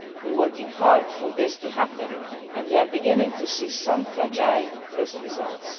We are working hard for this to happen, and we are beginning to see some fragile first results.